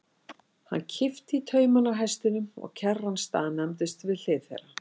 Hann kippti í taumana á hestinum og kerran staðnæmdist við hlið þeirra.